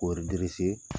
K'o